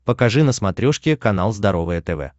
покажи на смотрешке канал здоровое тв